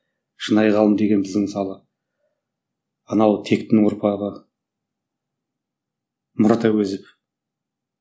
шынайы ғалым деген біздің мысалы анау тектінің ұрпағы мұрат әуезов